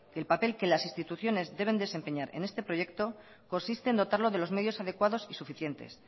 el papel que las instituciones deben desempeñar en este proyecto consiste en dotarlos de los medios adecuados y suficientes